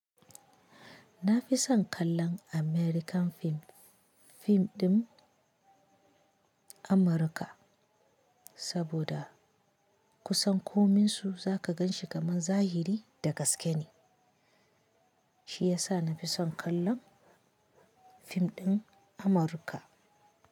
Na fi son kallon American film, fim din Amurka saboda kusan ko minsu za ka gan shi kamar zahiri da gaske ne. Shi ya sa na fi son kallon fim din Amurka.